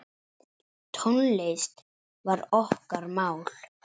Tónlist var okkar mál.